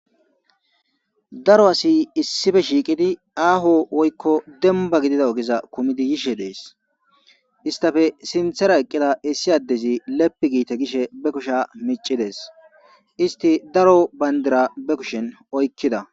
Daro asi issippe shiiqidi aaho woyko dembba ogeza kumidi yishe dees. Izetappe sinthe baggara diza isi adezi leppi giite gishe be kusheza miccides. Izeti daro bandira be kushen oykida.